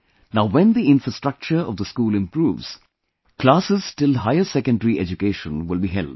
Now when the infrastructure of the school improves, classes till higher secondary education will be held